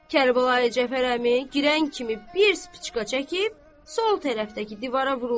Kərbəlayi Cəfər əmi girən kimi bir spicka çəkib, sol tərəfdəki divara vurdu.